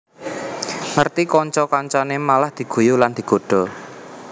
Ngerti kanca kancane malah diguyu lan digodha